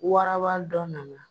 Waraba dɔ nana